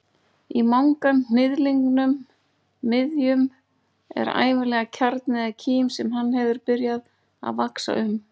Í manganhnyðlingnum miðjum er ævinlega kjarni eða kím sem hann hefur byrjað að vaxa um.